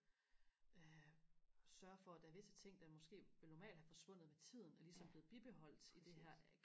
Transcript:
øh sørge for at der er visse ting der måske ville normalt have forsvundet med tiden er ligesom blevet bibeholdt i det her